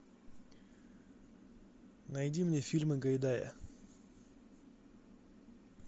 найди мне фильмы гайдая